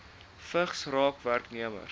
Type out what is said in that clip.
vigs raak werknemers